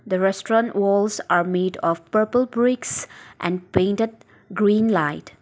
the restaurant walls are made of purple bricks and painted green light.